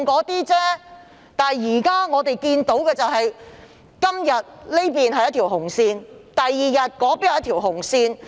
不過，我們看到今天這裏劃一條紅線，第二天那裏又劃一條紅線。